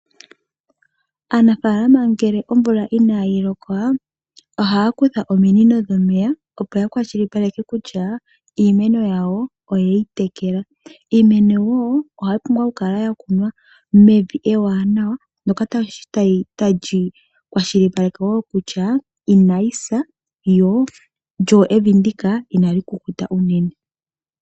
Aanafaalama ngele omvula inaayi loka, ohaa kutha ominino dhomeya, opo ya kwashilipaleke kutya iimeno yawo oye yi tekela. Iimeno wo ohayi pumbwa okukala ya kunwa mevi ewanawa ndyoka tali kwashilipaleke wo kutya inayi sa lyo evi ndika inali kukuta unene.